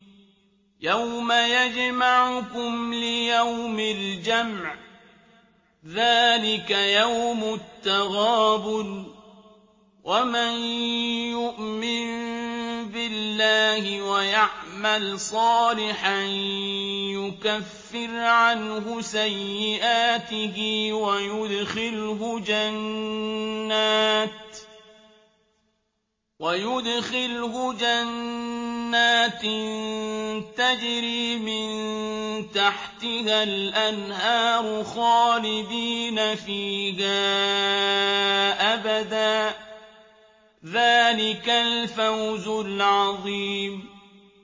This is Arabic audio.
يَوْمَ يَجْمَعُكُمْ لِيَوْمِ الْجَمْعِ ۖ ذَٰلِكَ يَوْمُ التَّغَابُنِ ۗ وَمَن يُؤْمِن بِاللَّهِ وَيَعْمَلْ صَالِحًا يُكَفِّرْ عَنْهُ سَيِّئَاتِهِ وَيُدْخِلْهُ جَنَّاتٍ تَجْرِي مِن تَحْتِهَا الْأَنْهَارُ خَالِدِينَ فِيهَا أَبَدًا ۚ ذَٰلِكَ الْفَوْزُ الْعَظِيمُ